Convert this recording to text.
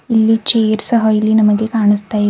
ಇಲ್ಲಿ ಚೇರ್ ಸಹ ಇಲ್ಲಿ ನಮಗೆ ಕಾಣಿಸ್ತಾಇವೆ.